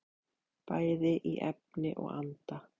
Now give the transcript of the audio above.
Bæði í efni og anda.